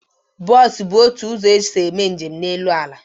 Bos bụ otu ụzọ esi eme njem n'elu ala